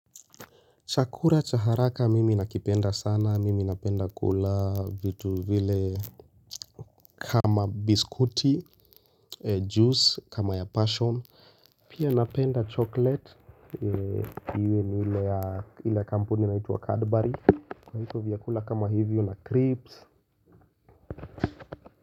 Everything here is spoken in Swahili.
Chakula cha haraka, mimi nakipenda sana, mimi napenda kula vitu vile kama biskuti, juice kama ya passion. Pia napenda chocolate, iwe ni ila kampuni na inaitwa Cadbury. Kwa hivo vyakula kama hivyo na crips.